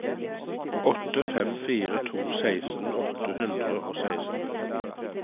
åtte fem fire to seksten åtte hundre og seksten